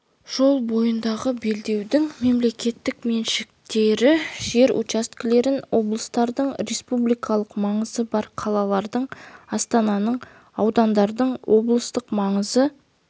жол бойындағы белдеудің мемлекеттік меншіктегі жер учаскелерін облыстардың республикалық маңызы бар қалалардың астананың аудандардың облыстық маңызы